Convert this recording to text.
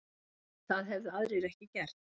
Það hefðu aðrir ekki gert